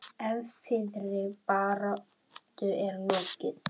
Erfiðri baráttu er lokið.